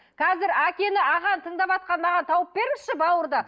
қазір әкені ағаны тыңдаватқан маған тауып беріңізші бауырды